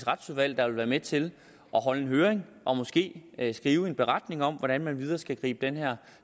retsudvalg der vil være med til at holde en høring og måske skrive en beretning om hvordan man videre skal gribe den her